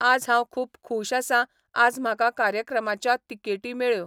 आज हांव खूब खुश आसां आज म्हाका कार्यक्रमाच्या तिकेटी मेळ्ळ्यो